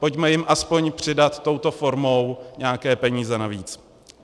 Pojďme jim aspoň přidat touto formou nějaké peníze navíc.